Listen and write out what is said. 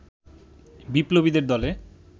বিপ্লবীদের দলে